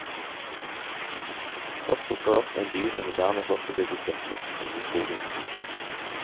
Først dukker det opp en by med moderne blokkbebyggelse midt inne i skogen.